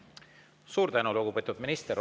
Suur tänu, lugupeetud minister!